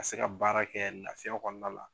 Ka se ka baara kɛ lafiya kɔnɔna la.